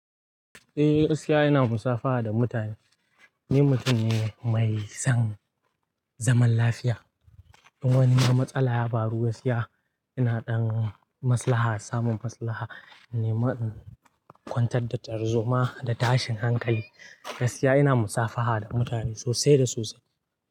Eh, gaskiya ina musafaha da mutane. Ni mutum ne mai son zaman lafiya. In wani ma matsala ya faru, gaskiya ina dan maslaha samun maslaha. Ni ma in kwantar da tarzoma da tashin hankali. Gaskiya ina musafaha da mutane sosai da sosai.